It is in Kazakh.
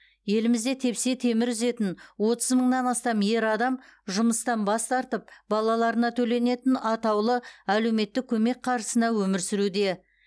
елімізде тепсе темір үзетін отыз мыңнан астам ер адам жұмыстан бас тартып балаларына төленетін атаулы әлеуметтік көмек қаржысына өмір сүруде